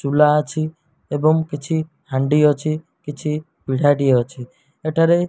ତୁଲା ଅଛି ଏବଂ କିଛି ହାଣ୍ଡି ଅଛି କିଛି ପିଢ଼ାଟିଏ ଅଛି ଏଠାରେ।